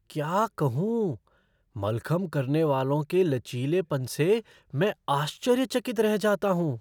क्या कहूँ, मलखंब करने वालों के लचीलेपन से मैं आश्चर्यचकित रह जाता हूँ!